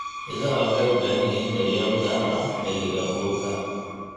Idaha waxay u baahan yihiin daryeel gaar ah xilliga uurka.